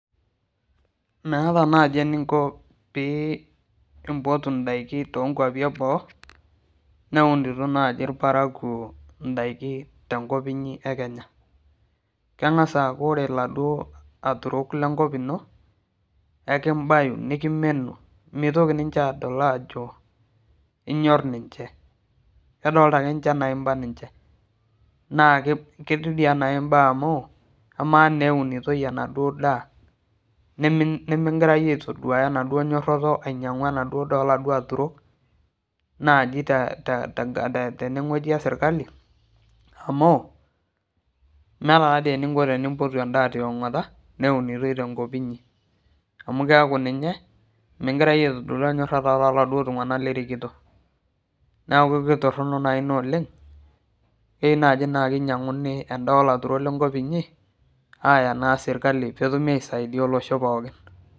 Meeta naaji eninko pee inpotu ndaiki tookwapi eboo neunito naaji irparakuo ndaiki tenkop inyi ekenya ,kengas aaku ore leduo aturok lenkop ino nikimbayu nikimenu .mitoki ninche adol ajo inyor ninche kedolita ake ninche ajo imbaa ninche naa ketii dii ake enaa imbaa amu ama naa amu keunitoi ena duo daa nimikingira yie aitodolu enyorata enaduo daa oladuo aturok, teweji esirkali amu meeta taadei eninko tenimpotu endaa tongota neunitoi tenkop inyi amu keeku ninye mingira yie aitodolu enyorata tooladuo tunganak lirikito .neeku kitoronok ina oleng keyieu naa keinyanguni endaa olaturok linyi aya naa sirkali pee etumi aisaidia olosho linyi pookin .